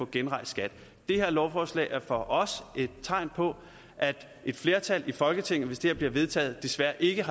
genrejst det her lovforslag er for os et tegn på at et flertal i folketinget hvis det her bliver vedtaget desværre ikke